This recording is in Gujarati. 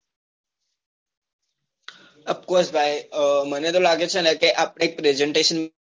of course ભાઈ મને તો લાગે છે ને કે આપડે એક presentation